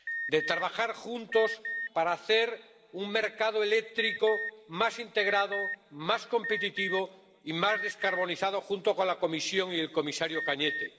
De trabajar juntos para hacer un mercado eléctrico más integrado, más competitivo y más descarbonizado, junto con la Comisión y el comisario Cañete.